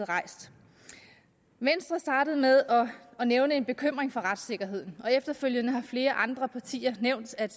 rejst venstre startede med at nævne en bekymring for retssikkerheden og efterfølgende har flere andre partier nævnt at